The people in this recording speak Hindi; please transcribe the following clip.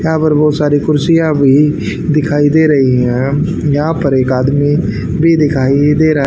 यहां पर बहुत सारी कुर्सियां भी दिखाई दे रही हैं यहां पर एक आदमी भी दिखाई दे रहा--